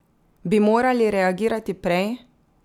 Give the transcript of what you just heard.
Bi morali reagirati prej?